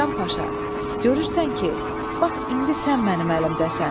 Hasan Paşa, görürsən ki, bax indi sən mənim əlimdəsən.